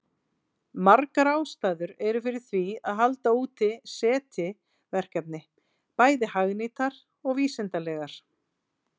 Margar ástæður eru fyrir því að halda úti SETI-verkefni, bæði hagnýtar og vísindalegar.